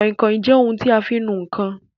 Kàinkàin jẹ́ ohun tí a fi ń nu ǹkan